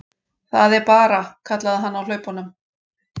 Það er bara, kallaði hann á hlaupunum.